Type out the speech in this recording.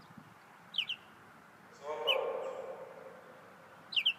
златоуст